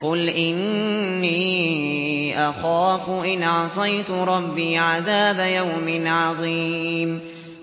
قُلْ إِنِّي أَخَافُ إِنْ عَصَيْتُ رَبِّي عَذَابَ يَوْمٍ عَظِيمٍ